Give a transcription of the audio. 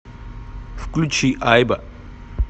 включи айба